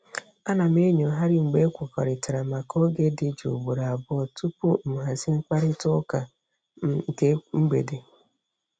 A na m enyoghari mgbe ekwekọrịtara maka oge dị jụụ ugboro abụọ tupu m hazie mkparịta ụka ekwenti m nke mgbede.